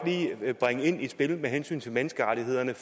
lige bringe i spil med hensyn til menneskerettighederne